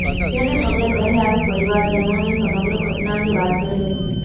જેને પગલે ઘરે આવી પરિવારજનોને સમગ્ર ઘટના અંગે વાત કરી હતી